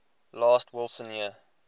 last wilson year